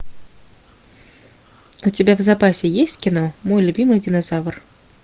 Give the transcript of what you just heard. у тебя в запасе есть кино мой любимый динозавр